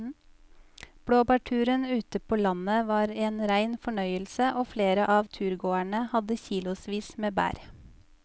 Blåbærturen ute på landet var en rein fornøyelse og flere av turgåerene hadde kilosvis med bær.